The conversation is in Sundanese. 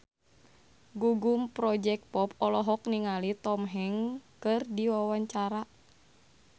Gugum Project Pop olohok ningali Tom Hanks keur diwawancara